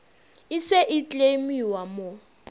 e se e kleimiwa mo